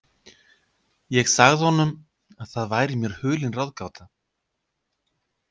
Ég sagði honum, að það væri mér hulin ráðgáta.